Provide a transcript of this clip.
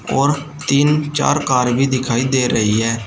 वहां तीन चार कार भी दिखाई दे रही है।